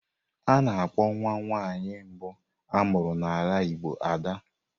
A na-akpọ nwa nwaanyị mbu amuru n'ala Igbo Ad.